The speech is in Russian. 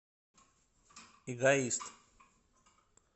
эгоист